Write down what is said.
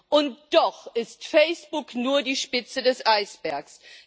Und doch ist Facebook nur die Spitze des Eisbergs.